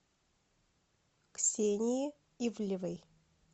ксении ивлевой